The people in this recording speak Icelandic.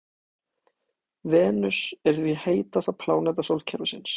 Venus er því heitasta pláneta sólkerfisins.